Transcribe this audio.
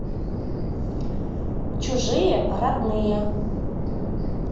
чужие родные